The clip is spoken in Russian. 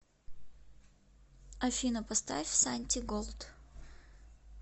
афина поставь сантиголд